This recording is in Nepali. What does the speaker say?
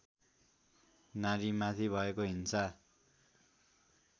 नारीमाथि भएको हिंसा